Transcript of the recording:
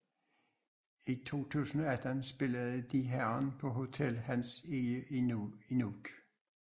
I 2018 spillede Die Herren på Hotel Hans Egede i Nuuk